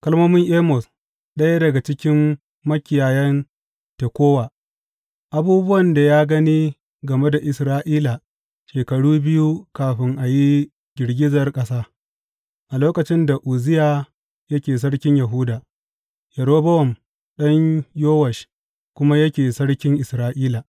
Kalmomin Amos, ɗaya daga cikin makiyayan Tekowa, abubuwan da ya gani game da Isra’ila shekaru biyu kafin a yi girgizar ƙasa, a lokacin da Uzziya yake sarkin Yahuda, Yerobowam ɗan Yowash kuma yake sarkin Isra’ila.